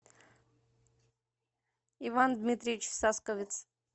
иван дмитриевич сасковец